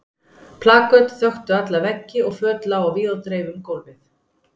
Plaköt þöktu alla veggi og föt lágu á víð og dreif út um gólfið.